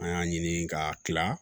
An y'a ɲini k'a tila